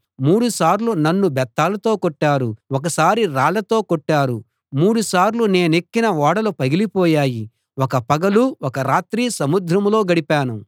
మూడు సార్లు నన్ను బెత్తాలతో కొట్టారు ఒకసారి రాళ్లతో కొట్టారు మూడుసార్లు నేనెక్కిన ఓడలు పగిలిపోయాయి ఒక పగలు ఒక రాత్రి సముద్రంలో గడిపాను